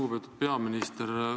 Lugupeetud peaminister!